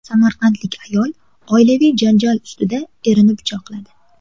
Samarqandlik ayol oilaviy janjal ustida erini pichoqladi.